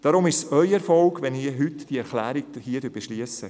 Deshalb ist es ihr Erfolg, wenn wir heute diese Erklärung beschliessen.